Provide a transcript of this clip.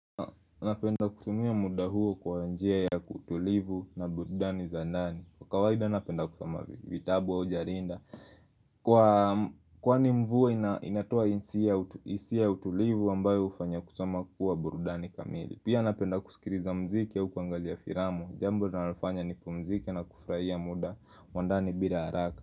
Anapenda kusumia muda huo kwa wanjia ya kutulivu na burudani zandani Kwa kawaida anapenda kusama vitabu wa ujarinda Kwa ni mvuwa inatua insia utulivu wambayo ufanya kusama kuwa burudani kamili Pia anapenda kusikiriza mziki ya ukuangalia firamu Jambu nanafanya ni pumziki na kufraia muda wandani bila haraka.